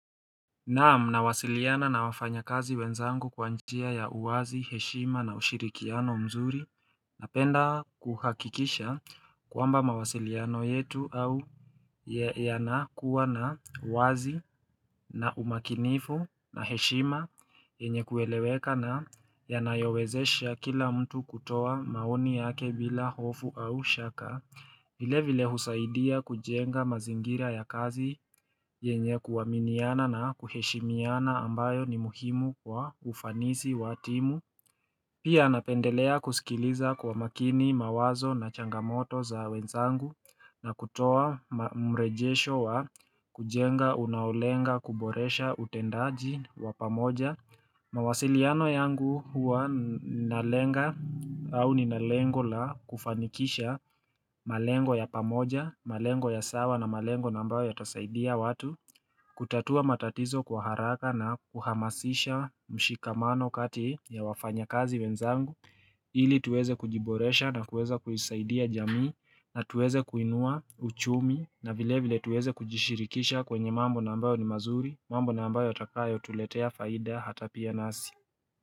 Na'am nawasiliana na wafanya kazi wenzangu kwa njia ya uwazi heshima na ushirikiano mzuri Napenda kuhakikisha kwamba mawasiliano yetu au yanakuwa na uwazi na umakinifu na heshima yenye kueleweka na yanayowezesha kila mtu kutoa maoni yake bila hofu au shaka vile vile husaidia kujenga mazingira ya kazi yenye kuuminiana na kuheshimiana ambayo ni muhimu kwa ufanisi wa timu Pia napendelea kusikiliza kwa makini mawazo na changamoto za wenzangu na kutoa mrejesho wa kujenga unaolenga kuboresha utendaji wa pamoja mawasiliano yangu huwa ninalenga au nina lengo la kufanikisha malengo ya pamoja, malengo ya sawa na malengo nambayo yatasaidia watu kutatua matatizo kwa haraka na kuhamasisha mshikamano kati ya wafanyakazi wenzangu ili tuweze kujiboresha na kuweza kuisaidia jamii na tuweze kuinua uchumi na vile vile tuweze kujishirikisha kwenye mambo nambayo ni mazuri mambo na ambayo yatakayotuletea faida hata pia nasi.